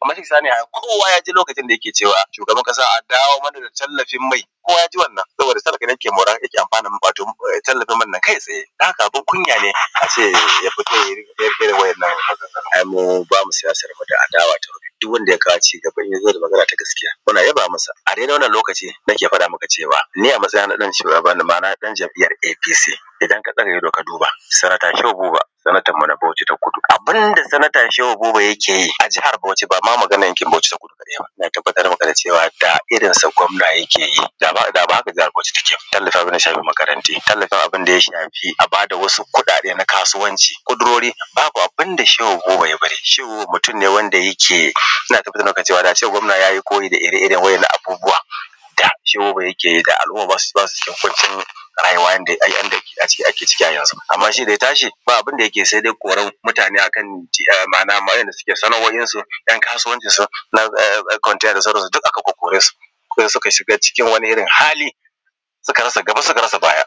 Kaman misali, ai kowa ya ji lokacin da yake cewa shugaban ƙasa a dawo mana da tallafin mai kowa ya ji wannan saboda talaka ne ke mora, yake amfana tallafin man nan kai tsaye don haka abun kunya ne a ce ya fito ya rinƙa irin abun nan. Ai mu ba mu siyasar mu da adawa duk wanda ya kawo cigaba in ya zo da magana ta gaskiya, muna yaba masa a dai-dai wannan lokacin nake faɗa maka cewa ni, a matsayi na na ɗan cewa an ba ni mara na jam’iyyan apc. Idan ka ɗaga ido ka duba senator Shehu Buba, senator mu na Bauchi ta Kudu, abun da Senator Buba Shehu yake yi a jahar Bauchi ba ma maganan yankin Bauchi ta Kudu da Arewa ba, na tabbata da wanda irin sa gwamna yake yi da ba haka jihar Bauchi take ba. Tallafin abun da ya shafi makarantu, tallafin abun da ya shafi a ba da wasu kuɗaɗe na kasuwanci babu abun da Shehu Buba ya bari, Shehu Buba mutum ne wanda yake, ina da tabbacin cewa da a ce gwamna ya yi koyi da ire-iren wannan abun da Shehu Buba yake yi da al’umma ba su cikin ƙuncin rayuwa yanda ake ciki a yanzun. Amma shi da ya tashi ba abun da yake yi sai dai koran mutane, ma’ana ma inda suke sana’oinsu ‘yan kasuwancinsu ɗan containansu duk aka kore su, shi ne suka shiga wani hali suka rasa gaba suka rasa baya,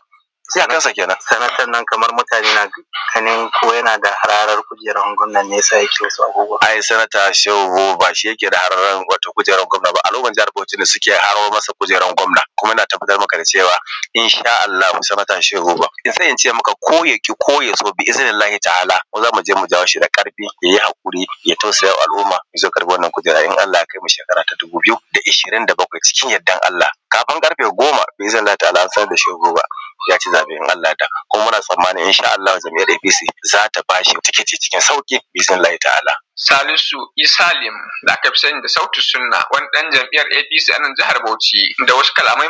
iyakansa kenan senatan nan kaman mutane na ganin ko yana da hararar kudi ba na gwamna shi ya sa yake musu abubuwa, ai senator Shehu Buba shi yake hararar kujeran gwamna ba al’ummar jihar Bauchi ne suke hararo masa kujerar gwaman kuma ina tabbatar maka da cewa In sha Allahu Senator Shehu Buba sai in ce maka ko ya ƙi ko ya so biiznillahi ta’ala mu za mu je mu jawo shi da ƙarfi ya yi hakuri ya tausaya ma al’umma ya zo ya karɓa wannnan kujera in Allah ya kai mu shekara ta dubu biyu da ishirin da bakwai cikin yardan Allah kafun ƙarfe goma biznillahi ta’ala an sanar da Shehu Buba ya ci zaɓe. In Allah ya yarda kuma muna tsammanin In Sha Allahu jam’iyyar apc za ta ba shi ticket cikin sauri, biznillahi ta’ala, Salisu Isah kenan da aka fi sani da sautissunnah wani ɗan jam’iyyar apc a jihar Bauchi.